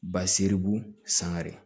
Ba seribu sangare